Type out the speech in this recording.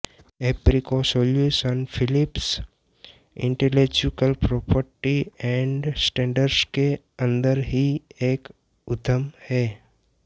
ऐप्रिको solutions Philips intellectual property and standards के अंदर ही एक उद्यम है